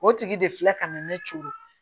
O tigi de filɛ ka na ne to yen